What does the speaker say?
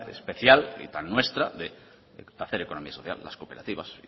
especial y tan nuestra de hacer economía social más cooperativas